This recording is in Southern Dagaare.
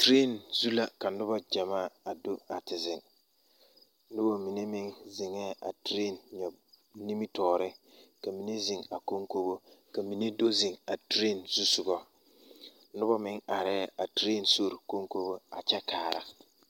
Tireni zu la ka noba gyamaa a do a te zeŋ noba mine meŋ zeŋɛɛ a tireni nyɔb nimitɔɔreŋ ka mine zeŋ a konkobo ka mine do zeŋ a tireni zusoga noba meŋ arɛɛ a tireni sori konkobo a kyɛ kaara.